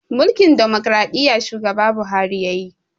Mulkin ɗumukraɗiya shugaba buhari yayi